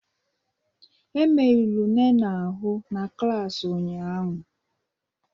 E merụrụ Nene ahụ n'klas ụnyaahụ